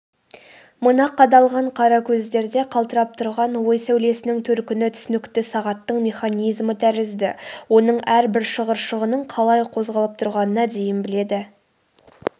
мына қадалған қара көздерде қалтырап тұрған ой сәулесінің төркіні түсінікті сағаттың механизмі тәрізді оның әрбір шығыршығының қалай қозғалып тұрғанына дейін біледі